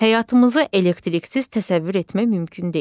Həyatımızı elektriksiz təsəvvür etmək mümkün deyil.